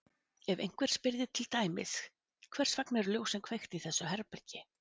Ef einhver spyrði til dæmis Hvers vegna eru ljósin kveikt í þessu herbergi?